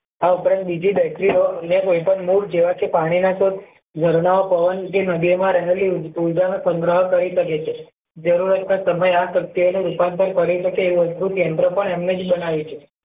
આ ઉપરાંત બીજી battery ઓ અન્ય જેવા કે પાણી ના કુંડ ઘર માં પવન કે નદીઓ માં રહેલી ઉર્જા ઓ સંગ્રહ કરી શકે છે જરૂરત ના સમય આ શક્તિઓ ને રૂપાંતર કરી શકે એવું અદ્ભુત કેન્દ્ર પણ એમને જ બનાવ્યું છે